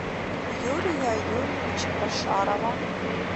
юрия юрьевича башарова